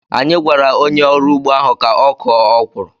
Anyị gwara onye ọrụ ugbo ahụ ka ọ kụọ okwuru.